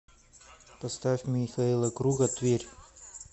поставь михаила круга тверь